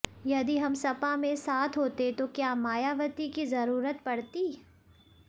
यदि हम सपा में साथ होते तो क्या मायावती की जरूरत पड़ती